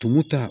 Tumu ta